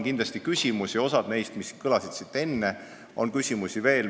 Kindlasti on küsimusi, osa neist on siin kõlanud, aga neid on veel.